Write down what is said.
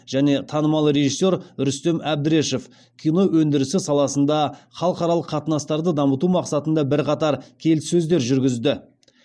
және танымал режиссер рүстем әбдірешев кино өндірісі саласында халықаралық қатынастарды дамыту мақсатында бірқатар келіссөздер жүргізді